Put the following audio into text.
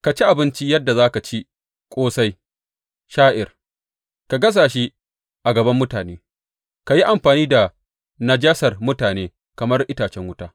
Ka ci abinci yadda za ka ci ƙosai sha’ir, ka gasa shi a gaban mutane, ka yi amfani da najasar mutane kamar itacen wuta.